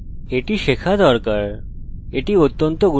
এটি 3টি পরামিতি নেয়